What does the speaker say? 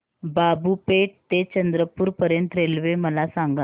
बाबूपेठ ते चंद्रपूर पर्यंत रेल्वे मला सांगा